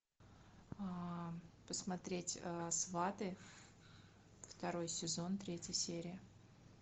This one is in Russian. посмотреть сваты второй сезон третья серия